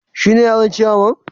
Shine yaron ciyaman?